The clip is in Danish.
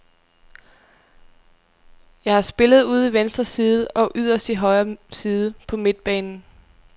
Jeg har spillet ude i venstre side og yderst i højre side på midtbanen.